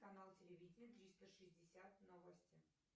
канал телевидения триста шестьдесят новости